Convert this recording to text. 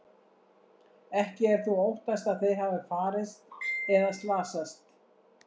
Ekki er þó óttast að þeir hafi farist eða slasast.